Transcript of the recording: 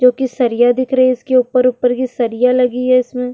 जो कि सरिया दिख रही है इसके ऊपर-ऊपर की सरिया लगी है इसमें।